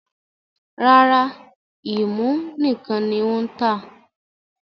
Rárá, ẹ́mú nìkan ní ó ń tà.